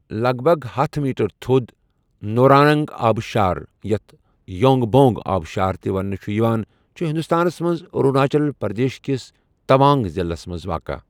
لگ بگ ہتھَ میٖٹر تھوٚد نوٗراننٛگ آبہٕ شار، یَتھ بونٛگ بونٛگ آبہٕ شار تہِ ونٛنہٕ چُھ یِوان، چُھ ہِنٛدُستانس منٛز أروٗناچل پرٛدیش کِس تَوانٛگ ضِلعس منٛز واقع۔